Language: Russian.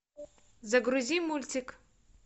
загрузи мультик